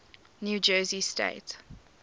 new jersey state